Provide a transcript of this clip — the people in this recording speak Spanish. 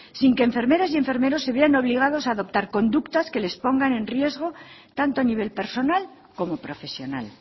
sin que enfermeras y enfermeros se vean obligados a adoptar conductas que les pongan en riesgo tanto a nivel personal como profesional